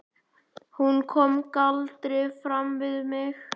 Hún kom galdri fram við mig.